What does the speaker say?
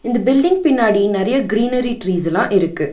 இந்த பில்டிங் பின்னாடி நெறைய கிரீனரி ட்ரீசெல்லா இருக்கு.